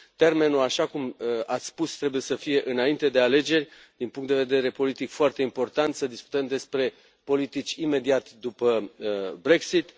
Termenul, așa cum că ați spus, trebuie să fie înainte de alegeri, din punct de vedere politic este foarte important să discutăm despre politici imediat după Brexit.